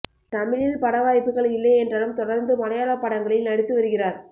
தமிழில் பட வாய்ப்புகள் இல்லை என்றாலும் தொடர்ந்து மலையாள படங்களில் நடித்து வருகிறார்